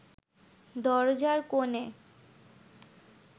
দরজার কোণে